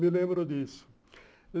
Me lembro disso.